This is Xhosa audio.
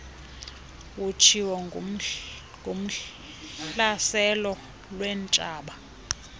utshiwo kuhlaselo lweentshaba